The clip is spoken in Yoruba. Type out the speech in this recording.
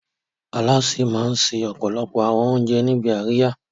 Alásè máa ń se ọ̀pọ̀lọpọ̀ àwọn oúnjẹ níbi àríyá.